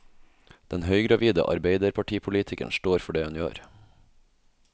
Den høygravide arbeiderpartipolitikeren står for det hun gjør.